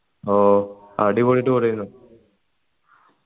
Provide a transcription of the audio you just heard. ഓ അടിപൊളി tour എനു